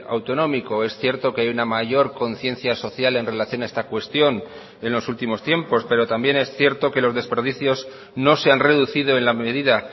autonómico es cierto que hay una mayor conciencia social en relación a esta cuestión en los últimos tiempos pero también es cierto que los desperdicios no se han reducido en la medida